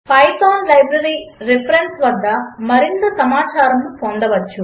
Python library reference వద్ద మరింత సమాచారమును పొందవచ్చు